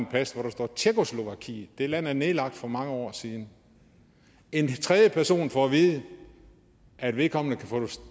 pas hvor der står tjekkoslovakiet det land er nedlagt for mange år siden en tredje person får at vide at vedkommende kan